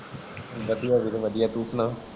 ਵਾਦੀਆਂ ਵੀਰੇ ਬਦਿਆਂ ਤੂੰ ਸੁਣਾ